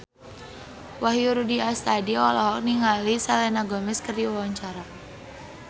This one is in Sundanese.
Wahyu Rudi Astadi olohok ningali Selena Gomez keur diwawancara